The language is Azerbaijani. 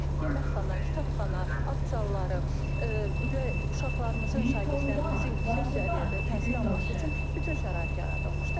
Yeməkxana, kitabxana, akzalları, və uşaqlarımızın, şagirdlərimizin yüksək səviyyədə təhsil alması üçün bütün şərait yaradılmışdır.